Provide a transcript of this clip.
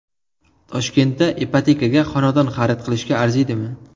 Toshkentda ipotekaga xonadon xarid qilishga arziydimi?